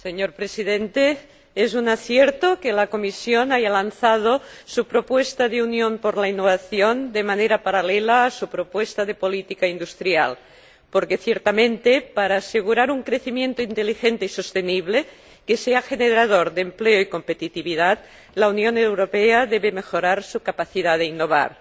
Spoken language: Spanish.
e Señor Presidente, es un acierto que la Comisión haya lanzado su propuesta de Unión por la Innovación de manera paralela a su propuesta de política industrial, porque, ciertamente, para asegurar un crecimiento inteligente y sostenible que sea generador de empleo y competitividad la Unión Europea debe mejorar su capacidad de innovar.